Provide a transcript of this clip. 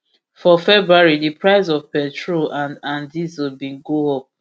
for february di price of petrol and and diesel bin go up